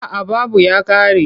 A'a babu ya ƙare.